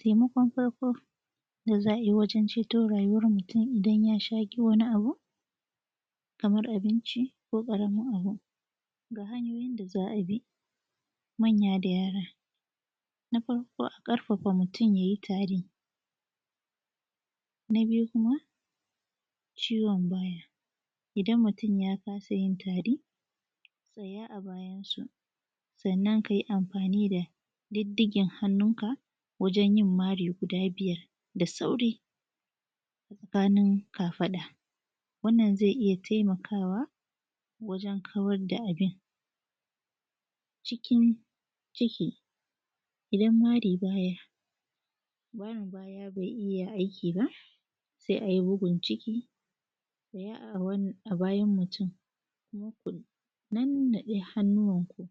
Taimakon farko da za a yi wajen ceto rayuwar mutum idan ya shaƙi wani abu kamar abinci ko ƙaramin abu ga hanyooyin da za a bi manya da yaara. Na farko a ƙarfafa mutum ya yi taari, na biyu kuma, ciwon baya idan mutum ya kaasa yin taari tsayaa a bayansu sannan kai amfaani da diddigen hannunka wajen yin mari guda biyar da saurii a tsakanin kafaɗa. Wannan zai iya taimakawa waǳen kawad da abin cikin ciki, idan mari baya marin baya bai iya aiki ba sai ai bugun ciki ɗaya a bayan mutum, kuma ku nannaɗe hannuwanku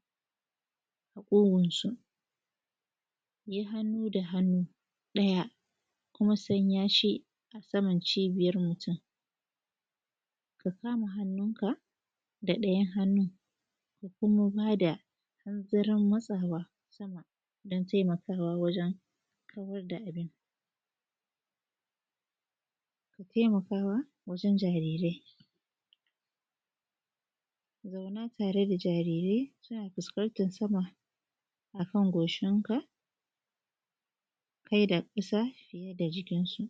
a ƙugunsu yai hannu da hannu ɗaya kuma sanya shi a saman cibiyar mutum, ka kaama hannunka da ɗayan hannun ka kuma baa da hanzarin matsawaa sama don taimakawa wajen kawar da abin, ka taimaka wa wajen jariirai zaunaa taree da jariirai suna fuskantan sama a kan goshinka kai da ƙasa fiye da jikinsu.